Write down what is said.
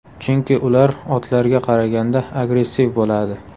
Chunki ular otlarga qaraganda agressiv bo‘ladi.